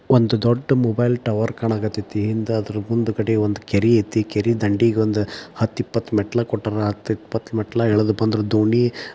ಒಂದು ದೊಡ್ಡ ಕೆರೆ ಕಾಣುಸ್ತಾ ಇದೆ ಅದರ ಹಿಂದೆ ದೊಡ್ಡ ಮೊಬೈಲ್ ಟವರ್ ಇದೆ ಕೆರೆಗೆ ಹತ್ತು ರಿಂದ ಇಪ್ಪತ್ತು ಮೆಟ್ಟಿಲು ಕೊಟ್ಟಿದ್ದಾರೆ ಅದರಿಂದ ಇಳಿದು ಬಂದ್ರೆ ದೋಣಿ ಸಿಗುತ್ತದೆ.